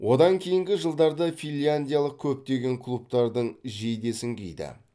одан кейінгі жылдарда финляндиялық көптеген клубтардың жейдесін киді